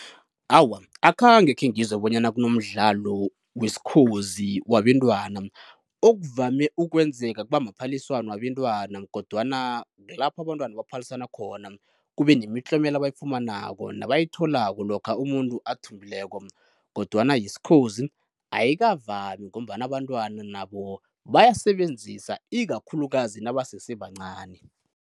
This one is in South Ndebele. Awa, akhange khengizwe bonyana kunomdlalo wesikhozi wabentwana. Okuvame ukwenzeka kuba maphaliswano wabentwana kodwana kulapho abantwana baphalisana khona, kube nemitlomelo abayifumanako nabayithola lokha umuntu athumbileko, kodwana yesikhozi ayikavami ngombana abantwana nabo bayasebenzisa ikakhulukazi nabasese bancani.